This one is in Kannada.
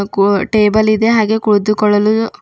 ಕೂ ಟೇಬಲ್ ಇದೆ ಹಾಗೆ ಕುಳಿತುಕೊಳ್ಳಲು--